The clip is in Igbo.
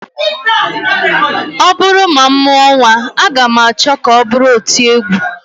Ọ bụrụ na m mụọ nnwa, aga m achọ ka ọ bụrụ otiegwu